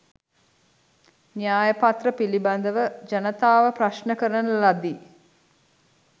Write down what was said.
න්‍යයපත්‍ර පිළිබඳව ජනතාව ප්‍රශ්ණ කරන ලදී